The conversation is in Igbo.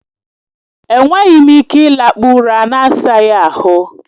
E nweghị m ike ịlakpụ ụra na-asaghị ahụ.